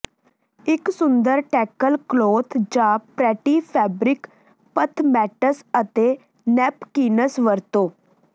ਇੱਕ ਸੁੰਦਰ table cloth ਜਾਂ ਪਰੈਟੀ ਫੈਬਰਿਕ ਪਥਮੈਟਸ ਅਤੇ ਨੈਪਕਿਨਸ ਵਰਤੋ